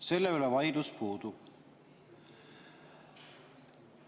Selle üle vaidlus puudub.